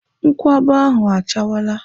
Nkwụaba ahụ achawala.